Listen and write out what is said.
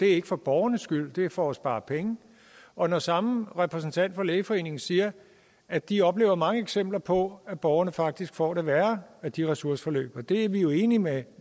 er for borgernes skyld det er for at spare penge og når samme repræsentant for lægeforeningen siger at de oplever mange eksempler på at borgerne faktisk får det værre af de ressourceforløb og det er vi jo enige med